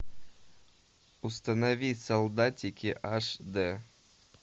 установи солдатики аш д